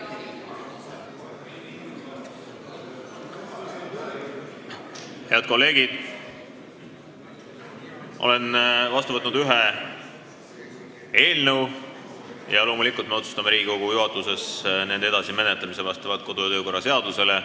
Head kolleegid, olen vastu võtnud ühe eelnõu ja loomulikult otsustab Riigikogu juhatus selle edasise menetlemise vastavalt kodu- ja töökorra seadusele.